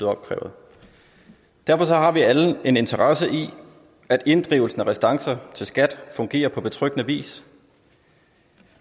opkrævet derfor har vi alle en interesse i at inddrivelsen af restancer til skat fungerer på betryggende vis